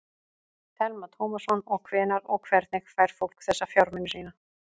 Telma Tómasson: Og hvenær og hvernig fær fólk þessa fjármuni sína?